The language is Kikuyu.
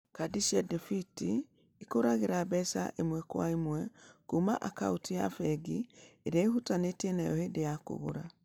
Kadi cia debiti ikũragĩra mbeca ĩmwe kwa ĩmwe kuuma akaunti-inĩ ya bengi ĩrĩa ĩhutanĩtie nayo hĩndĩ ya kũgũra.